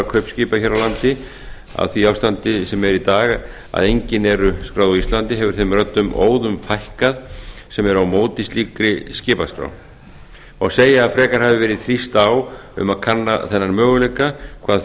kaupskipa hér á landi í því ástandi sem er í dag að engin eru skráð á íslandi hefur þeim röddum óðum fækkað sem eru á móti slíkri skipaskrá má segja að frekar hafi verið þrýst á um að kanna þennan möguleika hvað